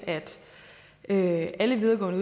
at alle videregående